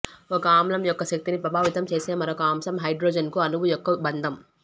ఒక ఆమ్లం యొక్క శక్తిని ప్రభావితం చేసే మరొక అంశం హైడ్రోజన్కు అణువు యొక్క బంధం